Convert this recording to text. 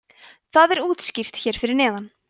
það er útskýrt hér fyrir neðan